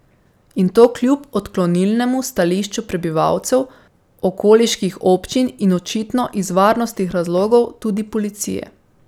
In to kljub odklonilnemu stališču prebivalcev, okoliških občin in očitno iz varnostnih razlogov tudi policije.